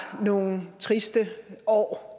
nogle triste år